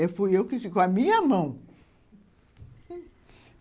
Eu fui eu que fiz, com a minha mão.